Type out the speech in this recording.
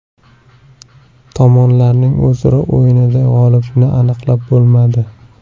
Tomonlarning o‘zaro o‘yinida g‘olibni aniqlab bo‘lmadi.